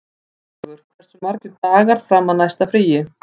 Grímlaugur, hversu margir dagar fram að næsta fríi?